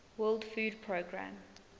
world food programme